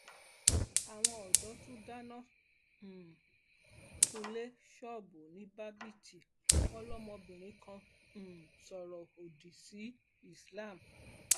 àwọn ọdọ tún dáná um sunlé ṣọọbù ni bábítì wọn lọmọbìnrin kan um sọrọ òdì sí islam